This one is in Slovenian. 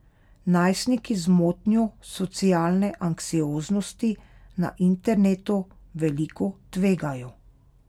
Najstniki z motnjo socialne anksioznosti na internetu veliko tvegajo.